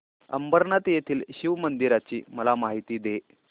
अंबरनाथ येथील शिवमंदिराची मला माहिती दे